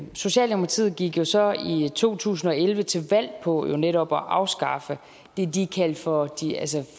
socialdemokratiet gik jo så i to tusind og elleve til valg på netop at afskaffe det de kaldte for